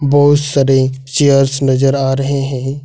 बहुत सारे चेयर्स नजर आ रहे हैं।